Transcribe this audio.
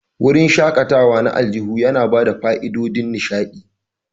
Wurin shakatawa na aljihu yana ba da fa'idodin nishaɗi.